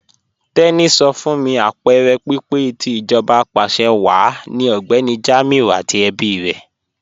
Teni sọ fún mí apẹẹrẹ pípẹ̀ tì íjọba apàṣẹwàá ni Ọgbẹni Jamiu àti ẹ̀bí rè.